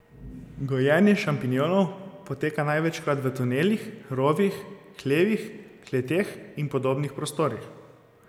Gojenje šampinjonov poteka največkrat v tunelih, rovih, hlevih, kleteh in podobnih prostorih.